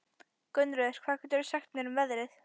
Gunnröður, hvað geturðu sagt mér um veðrið?